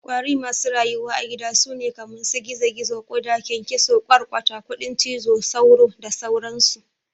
ƙwari masu rayuwa a gida sune kaman su gizo-gizo, ƙuda, ƙyanƙyaso, ƘwarƘwata, kudin cizo, sauro da sauran su.